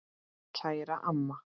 Kæra amma.